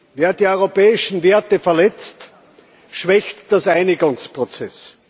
Wer die europäischen Werte verletzt, schwächt den Einigungsprozess.